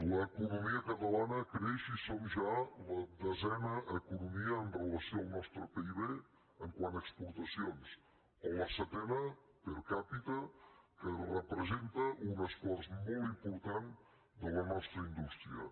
l’economia catalana creix i som ja la desena economia amb relació al nostre pib quant a exportacions o la setena per capitaimportant de la nostra indústria